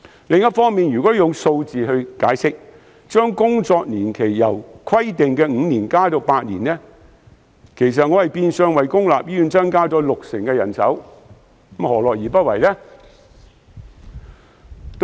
如果利用數字解釋，我建議將工作年期由原本規定的5年延長至8年，其實是變相為公立醫院增加六成人手，政府何樂而不為？